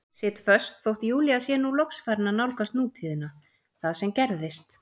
Sit föst þótt Júlía sé nú loks farin að nálgast nútíðina, það sem gerðist.